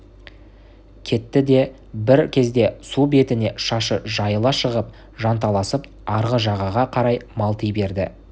кетті де бір кезде су бетіне шашы жайыла шығып жанталасып арғы жағаға қарай малти берді